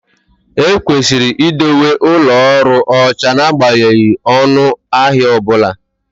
Ekwesịrị idowe ụlọ ọrụ ọcha n'agbanyeghị ọnụ ahịa ọ bụla